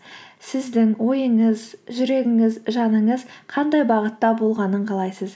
сіздің ойыңыз жүрегіңіз жаныңыз қандай бағытта болғанын қалайсыз